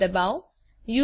enter દબાવો